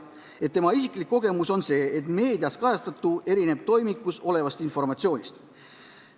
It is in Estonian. Tema isiklik kogemus on see, et meedias kajastatu erineb toimikus olevast informatsioonist.